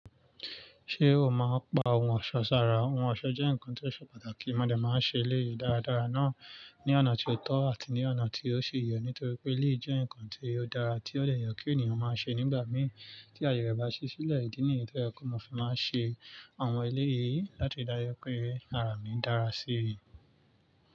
Ṣé o máa ń pa ohun ọ̀ṣọ́ sára? Ohun ọ̀ṣọ́ jẹ́ nǹkan tí o ṣe pàtàkì. Mòdẹ́ máa n ṣe èlé yìí dáradára náà ní ọ̀nà tí ó tọ́ àti ní ọ̀nà tí ó ṣi yẹ̀, nítorí pé èlé yii jẹ́ ǹkan tí ó dára, tí ó dẹ̀ yẹ̀ kí ènìyàn máa ṣe nígbà mí tí ayè rẹ̀ bá ṣí sílẹ̀. Ídí nìyi to jẹ́ pe mo fì máa n ṣe àwọn èlé yìí láti ri dáju pé ara mi dára sí i.